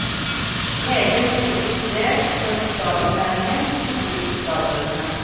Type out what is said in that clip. Egen metodisk del for bokstavinnlæringen, knyttet til bokstavbøkene.